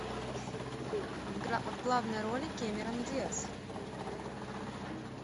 в главной роли кэмерон диаз